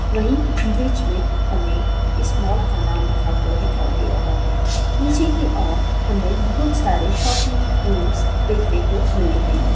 वही बीच मे हमे इस मॉल का नाम लिखा हुआ दिखाई दे रहा है इसि ही और हमे बहुत सारे शॉपिंग देखने को मिल रहे है ।